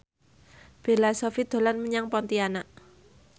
Bella Shofie dolan menyang Pontianak